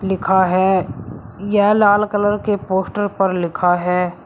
लिखा है। यह लाल कलर के पोस्टर पर लिखा है।